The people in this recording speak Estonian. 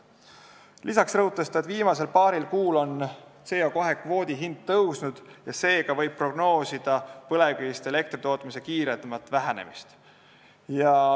Lisaks rõhutas ta, et viimasel paaril kuul on CO2 kvoodi hind tõusnud ja seega võib prognoosida põlevkivist elektri tootmise kiiremat vähenemist.